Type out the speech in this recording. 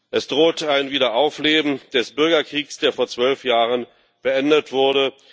Es droht ein Wiederaufleben des Bürgerkriegs, der vor zwölf Jahren beendet wurde.